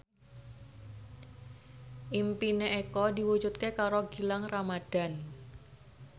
impine Eko diwujudke karo Gilang Ramadan